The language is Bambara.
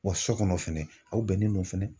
Wa sɔ kɔnɔ fɛnɛ, aw bɛnnen don fɛnɛ.